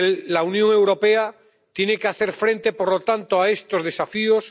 La Unión Europea tiene que hacer frente, por lo tanto, a estos desafíos.